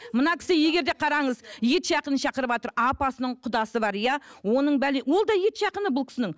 мына кісі егер де қараңыз ет жақынын шақырыватыр апасының құдасы бар иә оның ол да ет жақыны бұл кісінің